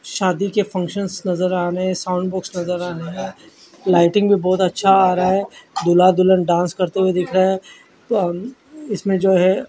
शादी के फंशंस नज़र आ रहे है साउंड बॉक्स नज़र आ रहा है लाइटिंग भी बोहोत अच्छा आ रहा है दूल्हा दुल्हन डांस करते हुए दिख रहे है और इसमें जो है।